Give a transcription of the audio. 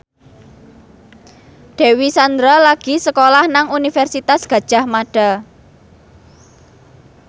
Dewi Sandra lagi sekolah nang Universitas Gadjah Mada